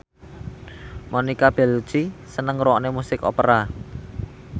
Monica Belluci seneng ngrungokne musik opera